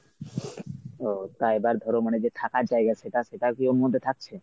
ও তা এবার ধর মানে যে থাকার জায়গা সেটা সেটা কী ওর মধ্যে থাকছে?